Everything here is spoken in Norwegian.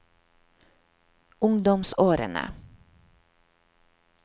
ungdomsårene